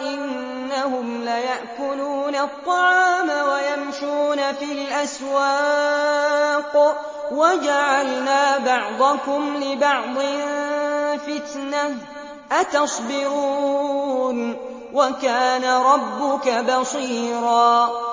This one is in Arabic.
إِنَّهُمْ لَيَأْكُلُونَ الطَّعَامَ وَيَمْشُونَ فِي الْأَسْوَاقِ ۗ وَجَعَلْنَا بَعْضَكُمْ لِبَعْضٍ فِتْنَةً أَتَصْبِرُونَ ۗ وَكَانَ رَبُّكَ بَصِيرًا